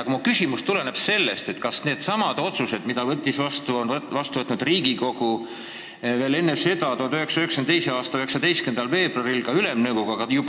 Aga minu küsimus tuleneb sellest, et Riigikogu on ennegi teinud ja veel enne teda, 1992. aasta 19. veebruaril ka Ülemnõukogu tegi